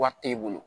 Wari t'e bolo